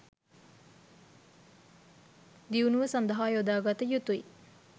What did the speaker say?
දියුණුව සඳහා යොදාගත යුතුයි